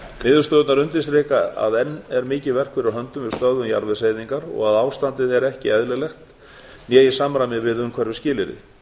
niðurstöðurnar undirstrika að enn er mikið verk fyrir höndum við stöðvun jarðvegseyðingar og að ástandið er ekki eðlilegt né í samræmi við umhverfisskilyrði